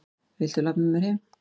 Viltu labba með mér heim!